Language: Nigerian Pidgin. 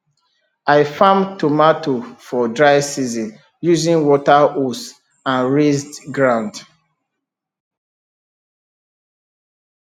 i farm tomato for dry season using water hose and raised ground